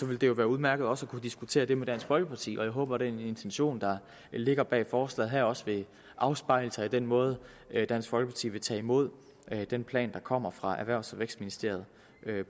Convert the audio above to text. vil det jo være udmærket også at kunne diskutere det med dansk folkeparti og jeg håber at den intention der ligger bag forslaget her også vil afspejle sig i den måde dansk folkeparti vil tage imod den plan der senere kommer fra erhvervs og vækstministeriet